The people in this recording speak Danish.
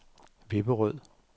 Vipperød